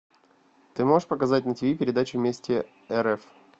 ты можешь показать на тиви передачу вместе рф